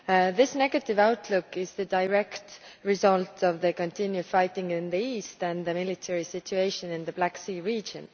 This negative outlook is the direct result of the continued fighting in the east and the military situation in the Black Sea region.